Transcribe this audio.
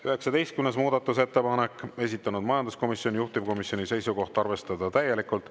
19. muudatusettepanek, esitanud majanduskomisjon, juhtivkomisjoni seisukoht on arvestada täielikult.